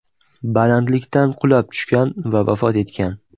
balandlikdan qulab tushgan va vafot etgan.